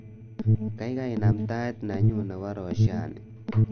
Kaikai inam tiat nenyu nebo roshani